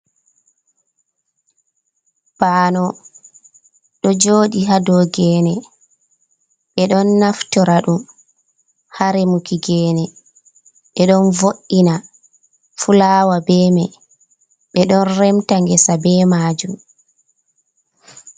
Banowo ɗo jooɗi haa dow geene, ɓe ɗon naftora ɗum haa remuki geene, ɓe ɗon vo’’ina fulaawa be may, ɓe ɗon remta ngesa be maajum.